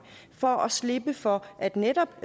for at slippe for at netop